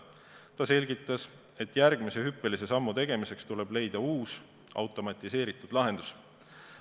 Ta selgitas, et järgmise hüppelise sammu tegemiseks tuleb leida uus automatiseeritud lahendus.